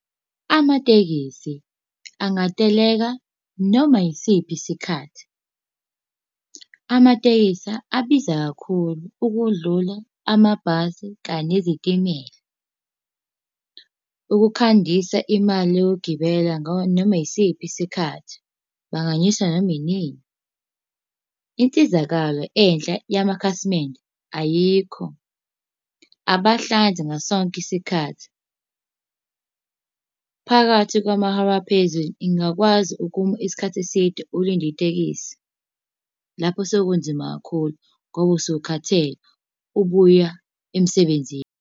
Amatekisi angateleka noma yisiphi isikhathi. Amatekisi abiza kakhulu ukudlula amabhasi kanye nezitimela. Ukukhandisa imali yokugibela nganoma isiphi isikhathi, banganyusa noma inini. Insizakalo enhla yamakhasimende ayikho. Abahlanzi ngaso sonke isikhathi. Phakathi kwamahora aphezulu ingakwazi ukuma isikhathi eside ulinde itekisi. Lapho sekunzima kakhulu ngoba usuke ukhathele, ubuya emsebenzini.